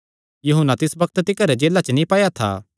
यूहन्ना तिस बग्त तिकर जेला च नीं पाया था